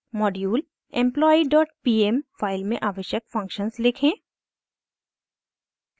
module employee dot pm file में आवश्यक functions लिखें